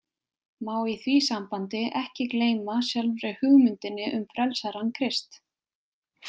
Má í því sambandi ekki gleyma sjálfri hugmyndinni um frelsarann Krist.